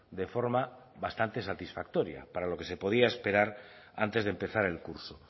de forma bastante satisfactoria para lo que se podía esperar antes de empezar el curso